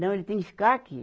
Não, ele tem que ficar aqui